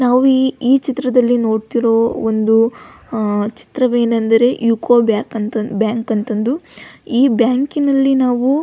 ನಾವು ಈ ಈ ಚಿತ್ರದಲ್ಲಿ ನೋಡತ್ತೀರೊ ಒಂದು ಅಹ್ ಚಿತ್ರವೇನೆಂದರೆ ಯು_ಕೋ ಬ್ಯಾಕ್ ಬ್ಯಾಂಕ್ ಅಂತ ಅಂದು ಈ ಬ್ಯಾಂಕಿನಲ್ಲಿ ನಾವು --